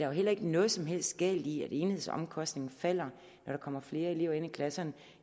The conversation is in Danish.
jo heller ikke noget som helst galt i at enhedsomkostningen falder når der kommer flere elever ind i klasserne